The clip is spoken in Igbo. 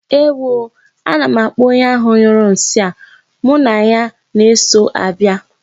Ewo oo, ana m akpọ onye ahụ nyụrụ nsị a, mụ na ya na-eso abịa!